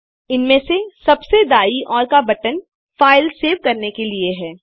इनमे से सबसे दायीं ओर का बटन फाइल सेव करने के लिए है